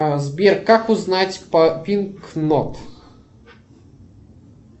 сбер как узнать по пинк нот